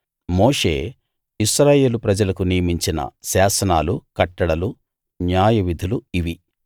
మోషే ఇశ్రాయేలు ప్రజలకు నియమించిన శాసనాలు కట్టడలు న్యాయ విధులు ఇవి